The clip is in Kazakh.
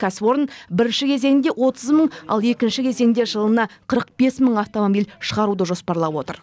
кәсіпорын бірінші кезеңде отыз мың ал екінші кезеңде жылына қырық бес мың автомобиль шығаруды жоспарлап отыр